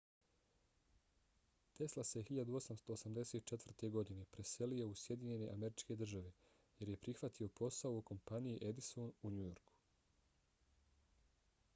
tesla se 1884. godine preselio u sjedinjene američke države jer je prihvatio posao u kompaniji edison u new yorku